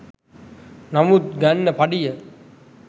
නමුත් ගන්න පඩිය